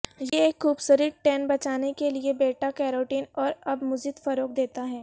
یہ ایک خوبصورت ٹین بچانے کے لئے بیٹا کیروٹین اور اب مزید فروغ دیتا ہے